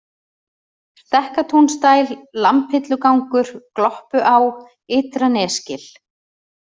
Stekkatúnsdæl, Lambhillugangur, Gloppuá, Ytra-Nesgil